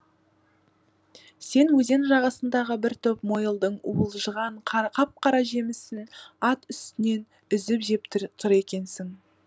сен өзен жағасындағы бір түп мойылдың уылжыған қап қара жемісін ат үстінен үзіп жеп тұр екенсің